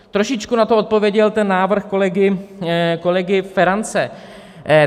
Trošičku na to odpověděl ten návrh kolegy Ferance.